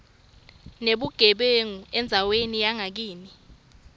nebugebengu endzaweni yangakini